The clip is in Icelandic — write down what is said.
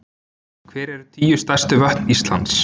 Hver eru tíu stærstu vötn Íslands?